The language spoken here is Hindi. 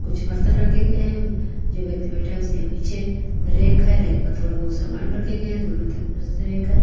कुछ बर्तन रखे गये हैं जो व्यक्ति बेठा है उसके पीछे रैक है रैक पर थोडा बहुत सामान रखे गये है दोनों तरफ फिर से रैक है।